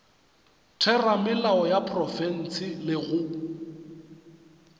theramelao ya profense le go